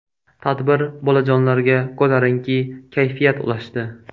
Tadbir bolajonlarga ko‘tarinki kayfiyat ulashdi.